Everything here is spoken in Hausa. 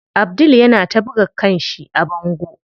Abdul yana ta buga kanshi a bango.